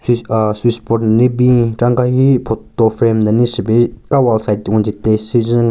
Aahh switchboard nden ne bin chera nka hi photo frame nden ne shye pe ka wall side wanjin past syujen.